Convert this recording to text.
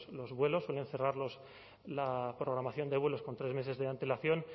los vuelos suelen cerrar la programación de vuelos con tres meses de antelación